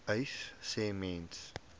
uys sê mense